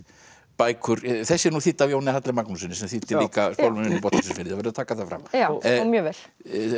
bækur þessi er þýdd af Jóni Halli Magnússyni sem þýddi líka spámennina í Botnleysufirði það verður að taka það fram já og mjög vel